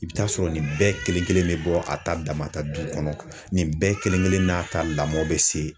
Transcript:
I bɛ t'a sɔrɔ nin bɛɛ kelen kelen bɛ bɔ a ta damata du kɔnɔ nin bɛɛ kelen kelen n'a ta lamɔn bɛ se